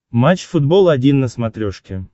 матч футбол один на смотрешке